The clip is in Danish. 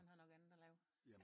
Han har nok andet at lave